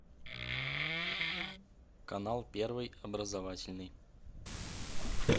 канал первый образовательный